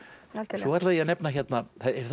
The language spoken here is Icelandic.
svo ætla ég að nefna hérna